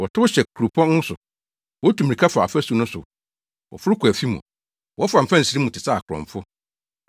Wɔtow hyɛ kuropɔn no so wotu mmirika fa afasu no so wɔforo kɔ afi mu, wɔfa mfɛnsere mu te sɛ akorɔmfo.